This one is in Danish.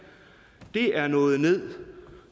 er nået ned